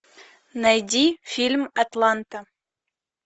найди фильм атланта